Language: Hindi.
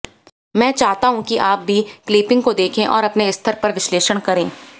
मैं चाहता हूं कि आप भी क्लिपिंग को देखें और अपने स्तर पर विश्लेषण करें